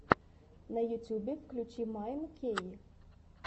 на ютьюбе включи майн кей